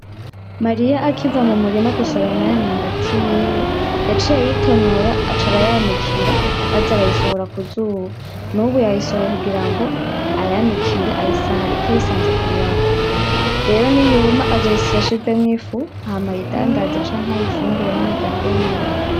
Mariya akiva mumurima gusoroma ya myumbati yiwe, yaciye ayitonora aca arayanikira aza arayisohora kuzuba, nubu yayisohoye kugirango ayanikire ayisare ariko ayisanza kubirago, rero niyuma azoyisyesha ivemwo ifu hama ayidandaze canke ayifungure n'umuryango wiwe.